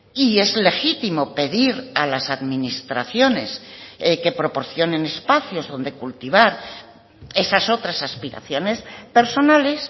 y es legítimo pedir a las administraciones que proporcionen espacios donde cultivar esas otras aspiraciones personales